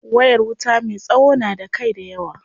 Wayar wuta me tsawo na da kai dayawa.